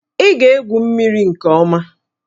Ị ga-egwu mmiri nke ọma!